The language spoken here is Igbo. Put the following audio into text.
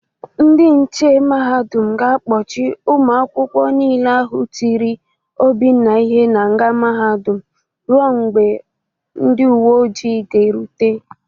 Ndị nche mahadum ga-akpọchị ụmụ akwụkwọ niile ahụ tiri Obinna ihe n'nga mahadum rue mgbe ndị uwe oji ga-erute.